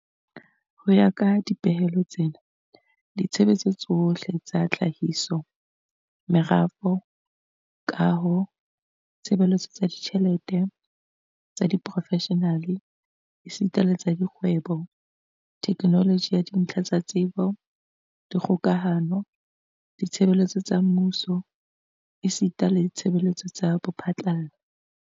Ho ya ka dipehelo tsena, ditshebeletso tsohle tsa tlhahiso, merafo, kaho, ditshebeletso tsa ditjhelete, tsa seprofeshenale esita le tsa kgwebo, theknoloji ya dintlha tsa tsebo, dikgokahano, ditshebeletso tsa mmuso esita le ditshebeletso tsa bophatlala